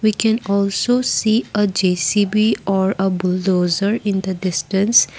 we can also see a JCB or a bulldozer in the distance.